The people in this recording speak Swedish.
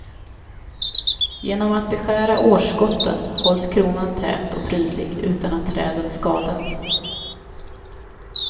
Genom att beskära årsskotten hålls kronan tät och prydlig utan att träden skadas.